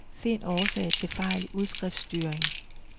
Find årsag til fejl i udskriftstyring.